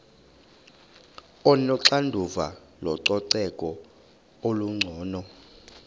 onoxanduva lococeko olungcono